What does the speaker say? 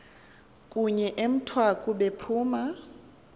kunye emthwaku bephuma